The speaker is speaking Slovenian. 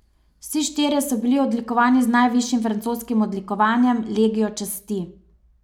Vsi štirje so bili odlikovani z najvišjim francoskim odlikovanjem, legijo časti.